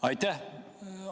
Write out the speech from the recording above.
Aitäh!